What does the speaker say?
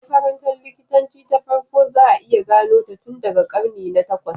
Makarantar likitanci ta farko za a iya gano ta tun daga karni na takwas.